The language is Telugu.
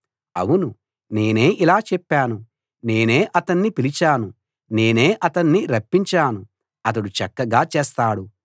ఔను నేనే ఇలా చెప్పాను నేనే అతణ్ణి పిలిచాను నేనే అతణ్ణి రప్పించాను అతడు చక్కగా చేస్తాడు